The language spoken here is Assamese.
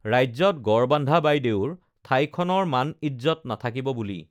ৰাজ্যত গড় বান্ধা বাইদেউৰ ঠাইখনৰ মান ইজ্জ্বত নাথাকিব বুলি